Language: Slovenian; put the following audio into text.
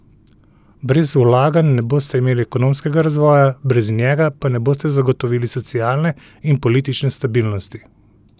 Brez vlaganj ne boste imeli ekonomskega razvoja, brez njega pa ne boste zagotovili socialne in politične stabilnosti!